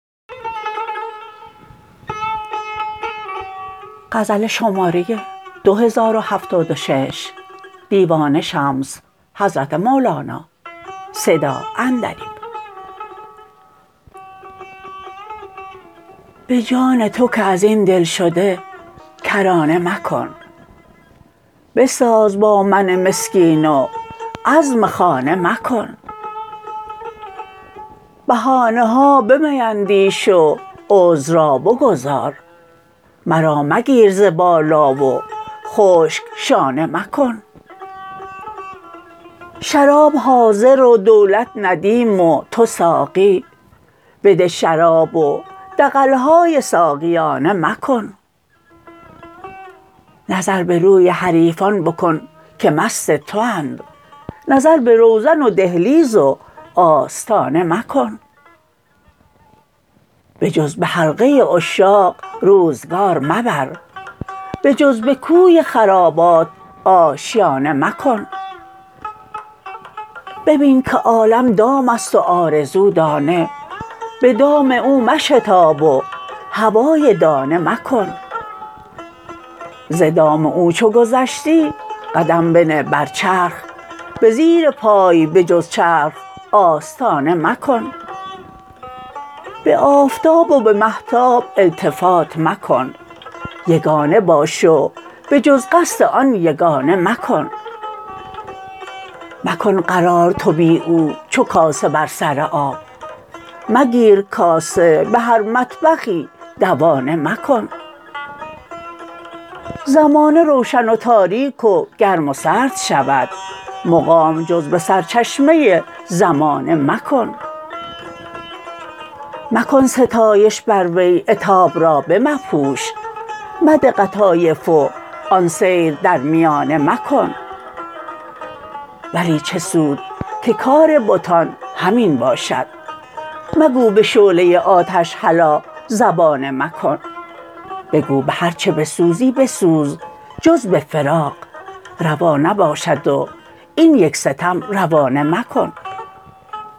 به جان تو که از این دلشده کرانه مکن بساز با من مسکین و عزم خانه مکن بهانه ها بمیندیش و عذر را بگذار مرا مگیر ز بالا و خشک شانه مکن شراب حاضر و دولت ندیم و تو ساقی بده شراب و دغل های ساقیانه مکن نظر به روی حریفان بکن که مست تواند نظر به روزن و دهلیز و آستانه مکن بجز به حلقه عشاق روزگار مبر بجز به کوی خرابات آشیانه مکن ببین که عالم دام است و آرزو دانه به دام او مشتاب و هوای دانه مکن ز دام او چو گذشتی قدم بنه بر چرخ به زیر پای به جز چرخ آستانه مکن به آفتاب و به مهتاب التفات مکن یگانه باش و به جز قصد آن یگانه مکن مکن قرار تو بی او چو کاسه بر سر آب مگیر کاسه به هر مطبخی دوانه مکن زمانه روشن و تاریک و گرم و سرد شود مقام جز به سرچشمه زمانه مکن مکن ستایش بر وی عتاب را بمپوش مده قطایف و آن سیر در میانه مکن ولی چه سود که کار بتان همین باشد مگو به شعله آتش هلا زبانه مکن بگو به هرچ بسوزی بسوز جز به فراق روا نباشد و این یک ستم روانه مکن